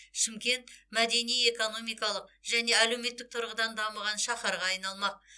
шымкент мәдени экономикалық және әлеуметтік тұрғыдан дамыған шаһарға айналмақ